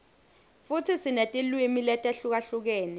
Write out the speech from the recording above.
futsi sinetilwimi letihlukahlukene